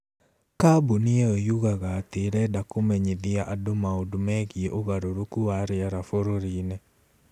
Kambuni ĩyo yugaga atĩ ĩrenda kũmenyithia andũ maũndũ megiĩ ũgarũrũku wa rĩera bũrũri-inĩ.